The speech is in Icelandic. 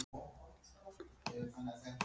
eftir Ögmund Jónsson